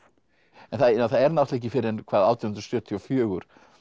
en það er náttúrulega ekki fyrr en hvað átján hundruð sjötíu og fjögur